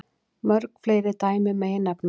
Mörg fleiri dæmi megi nefna.